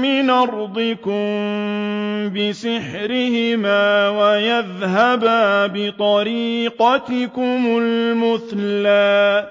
مِّنْ أَرْضِكُم بِسِحْرِهِمَا وَيَذْهَبَا بِطَرِيقَتِكُمُ الْمُثْلَىٰ